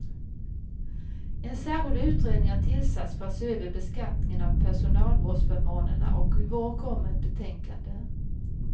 En särskild utredning har tillsatts för att se över beskattningen av personalvårdsförmånerna och i vår kommer ett betänkande.